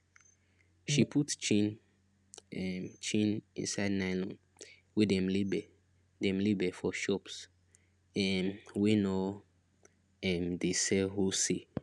she put chin um chin inside nylon wey dem label dem label for shops um wey no um dey sell wholesale